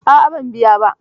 A'a, ban biya ba.